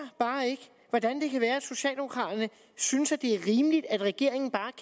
hvordan det kan være at socialdemokraterne synes det er rimeligt at regeringen bare